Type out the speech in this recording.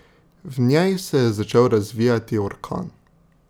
V njej se je začel razvijati orkan.